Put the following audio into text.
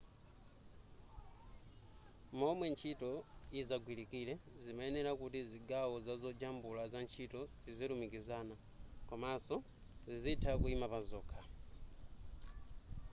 momwe ntchito yidzagwilikire zimayenera kuti zigawo zazojambula zantchito zizilumikizana komanso zizitha kuima pazokha